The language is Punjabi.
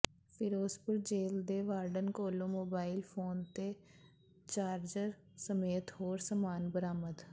ਫਿਰੋਜ਼ਪੁਰ ਜੇਲ੍ਹ ਦੇ ਵਾਰਡਨ ਕੋਲੋਂ ਮੋਬਾਈਲ ਫੋਨ ਤੇ ਚਾਰਜਰ ਸਮੇਤ ਹੋਰ ਸਮਾਨ ਬਰਾਮਦ